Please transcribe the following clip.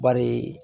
Bari